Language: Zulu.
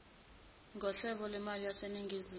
nghlobo lwemali yaseningizimu